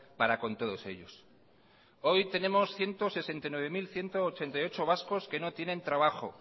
para con todos ellos hoy tenemos ciento sesenta y nueve mil ciento ochenta y ocho vascos que no tienen trabajo